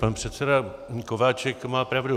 Pan předseda Kováčik má pravdu.